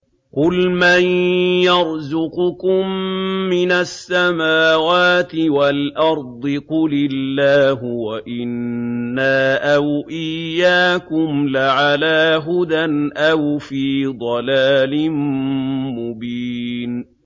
۞ قُلْ مَن يَرْزُقُكُم مِّنَ السَّمَاوَاتِ وَالْأَرْضِ ۖ قُلِ اللَّهُ ۖ وَإِنَّا أَوْ إِيَّاكُمْ لَعَلَىٰ هُدًى أَوْ فِي ضَلَالٍ مُّبِينٍ